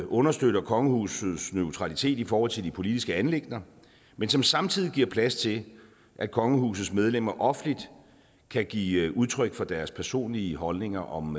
understøtter kongehusets neutralitet i forhold til de politiske anliggender men som samtidig giver plads til at kongehusets medlemmer offentligt kan give udtryk for deres personlige holdning om